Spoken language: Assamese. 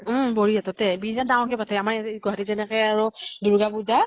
উম । বৰি হাততে । বিৰাত ডাঙৰ কে পাতে । আম্ৰ গুৱাহাটী ত যেনেকে আৰু দুৰ্গা পুজা ।